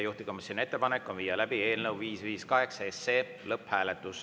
Juhtivkomisjoni ettepanek on viia läbi eelnõu 558 lõpphääletus.